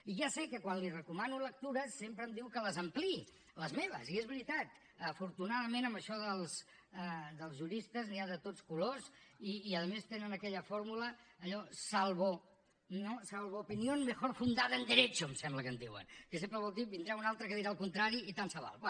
i ja sé que quan li recomano lectures sempre em diu que les ampliï les meves i és veritat afortunadament en això dels juristes n’hi ha de tots colors i a més tenen aquella fórmula allò salvo opinión mejor fundada en derecho em sembla que en diuen que sempre vol dir en vindrà un altre que dirà el contrari i tant se val